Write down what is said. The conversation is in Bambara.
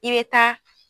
I bɛ taa